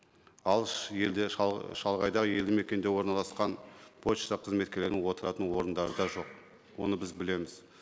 алыс елде шалғайда елді мекенде орналасқан пошта қызметкерлерінің отыратын орындары да жоқ оны біз білеміз